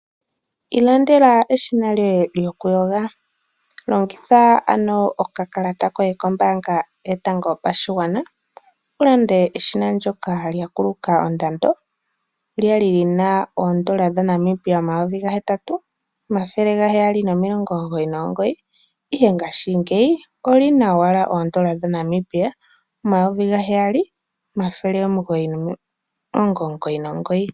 Ilandela eshina lyoye lyokuyoga, longitha ano okakalata koye kombaanga yotango yopashigwana ulande eshina ndoka lya kuluka ondando lyali lina oondola dha Namibia omayovi gahetatu omathele gaheyali nomilongo omugoyi nomugoyi ihe ngashingeyi olina owala oondola dha Namibia omayovi ga heyali omathele omugoyi nomilongo omugoyi nomugoyi .